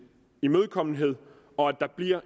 imødekommenhed og at der bliver